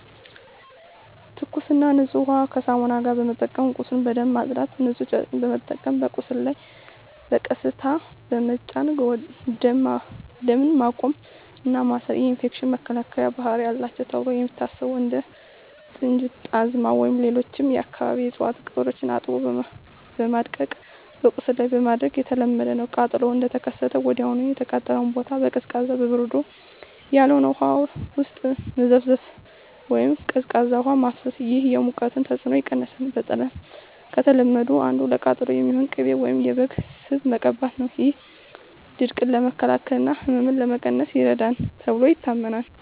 ትኩስና ንጹህ ውሃን ከሳሙና ጋር በመጠቀም ቁስሉን በደንብ ማጽዳት። ንጹህ ጨርቅ በመጠቀም በቁስሉ ላይ በቀስታ በመጫን ደም ማቆም እና ማሰር። የኢንፌክሽን መከላከያ ባህሪ አላቸው ተብለው የሚታሰቡ እንደ ጥንጁት፣ ጣዝማ ወይም ሌሎች የአካባቢው እፅዋት ቅጠሎችን አጥቦ በማድቀቅ በቁስሉ ላይ ማድረግ የተለመደ ነው። ቃጠሎው እንደተከሰተ ወዲያውኑ የተቃጠለውን ቦታ በቀዝቃዛ (በበረዶ ያልሆነ) ውሃ ውስጥ መዘፍዘፍ ወይም ቀዝቃዛ ውሃ ማፍሰስ። ይህ የሙቀቱን ተጽዕኖ ይቀንሳል። በጣም ከተለመዱት አንዱ ለቃጠሎ የሚሆን ቅቤ ወይም የበግ ስብ መቀባት ነው። ይህ ድርቀትን ለመከላከል እና ህመምን ለመቀነስ ይረዳል ተብሎ ይታመናል።